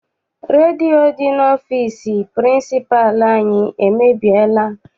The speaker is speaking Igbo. Redio dị n'ọfịịsi pịrịnsịpalụ anyị emebiela.